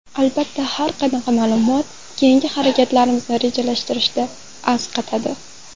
Albatta, har qanaqa ma’lumot keyingi harakatlarimizni rejalashtirishda asqatadi.